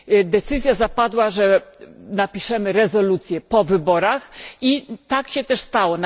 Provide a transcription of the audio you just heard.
Decyzja zapadła, że napiszemy rezolucję po wyborach i tak się też stało.